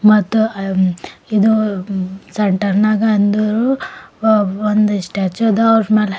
ಮತ್ತ ಆ ಇದು ಸೆಂಟರ್ ನಾಗ ಅಂದ್ರು ವ ಒಂದು ಸ್ಟ್ಯಾಚು ಅದ ಅವರ್ ಮ್ಯಾಲ್--